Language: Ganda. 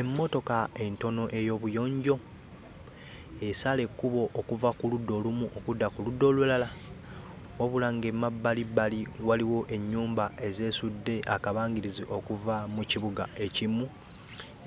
Emmotoka entono ey'obuyonjo esala ekkubo okuva ku ludda olumu okudda ku ludda olulala wabula ng'emabbalibbali waliwo ennyumba ezeesudde akabangirizi okuva mu kibuga ekimu